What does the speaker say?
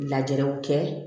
Lajɛrew kɛ